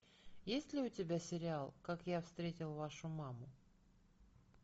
есть ли у тебя сериал как я встретил вашу маму